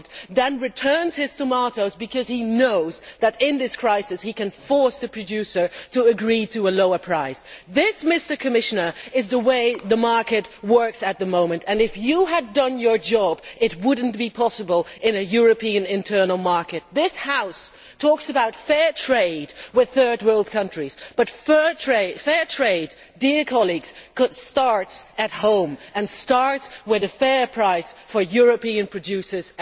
is German then returns his tomatoes because it knows that in this crisis it can force the producer to agree to a lower price. This, Commissioner, is the way the market works at the moment, and if you had done your job, this would not be possible in a European internal market. This House talks about fair trade with third world countries, but fair trade starts at home, with a fair price for European